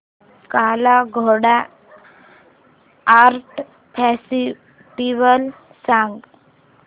काला Ghoda art festival सांग